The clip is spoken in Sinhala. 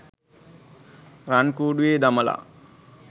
රන් කුඩුවෙ දමලා